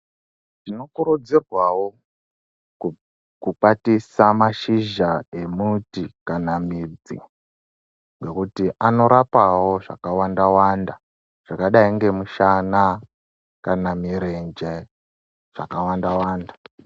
Tinokurudzirwawo kukwatisa mashizha emuti kana midzi nekuti anorapawo zvakawanda wanda zvakadai ngemushana kana mirenje zvakawa ndawanda.